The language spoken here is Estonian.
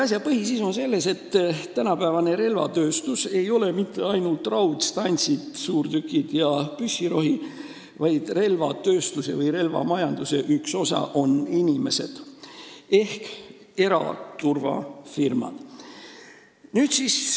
Asja põhisisu on selles, et tänapäevane relvatööstus ei ole mitte ainult raudstantsid, suurtükid ja püssirohi – relvamajanduse üks osa on inimesed ehk eraturvafirmad.